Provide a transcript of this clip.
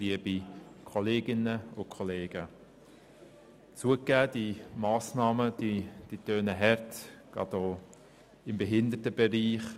Zugegeben: Die Massnahmen tönen hart, gerade für den Behindertenbereich.